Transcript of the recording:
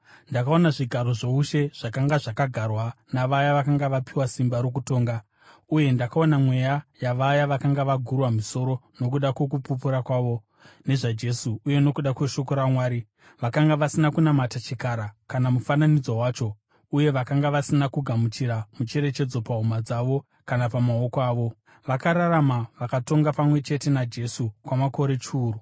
Ndakaona zvigaro zvoushe zvakanga zvakagarwa navaya vakanga vapiwa simba rokutonga. Uye ndakaona mweya yavaya vakanga vagurwa misoro nokuda kwokupupura kwavo nezvaJesu uye nokuda kweshoko raMwari. Vakanga vasina kunamata chikara kana mufananidzo wacho uye vakanga vasina kugamuchira mucherechedzo pahuma dzavo kana pamaoko avo. Vakararama vakatonga pamwe chete naJesu kwamakore chiuru.